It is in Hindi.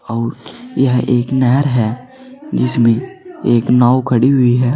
और यह एक नहर है जिसमें एक नाव खड़ी हुई हैं।